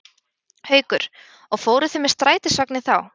Haukur: Og fóruð þið með strætisvagni þá?